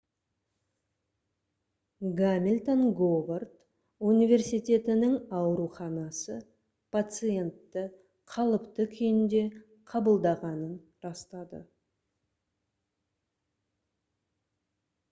гамильтон говард университетінің ауруханасы пациентті қалыпты күйінде қабылдағанын растады